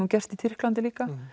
gerst í Tyrklandi líka